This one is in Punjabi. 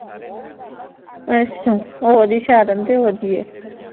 ਅੱਸ਼ਾ, ਓ ਓਦੀ ਸ਼ਰਨ ਤੇ